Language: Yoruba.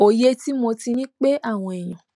òye tí mo ti ní pé àwọn èèyàn